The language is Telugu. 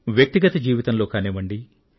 వ్యక్తిగత జీవితంలో కానివ్వండి